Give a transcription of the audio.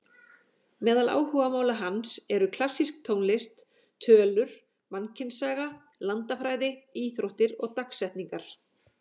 Meðal áhugamála hans eru klassísk tónlist, tölur, mannkynssaga, landafræði, íþróttir og dagsetningar.